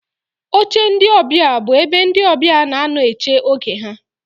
Oche ndị ọbịa bụ ebe ndị ọbịa na-anọ eche oge ha.